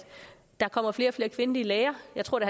der kommer flere og flere kvindelige læger jeg tror at